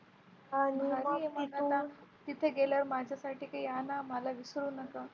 तिथे गेल्यावर माझ्यासाठी काही आणा मला विसरू नको.